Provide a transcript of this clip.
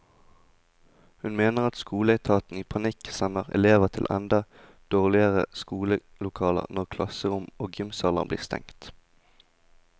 Hun mener skoleetaten i panikk sender elever til enda dårligere skolelokaler når klasserom og gymsaler blir stengt.